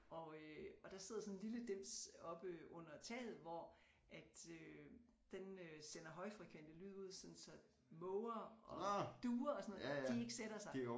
Og øh og der sidder sådan en lille dims oppe under taget hvor at øh den øh sender højfrekvente lyde ud sådan så måger og duer og sådan de ikke sætter sig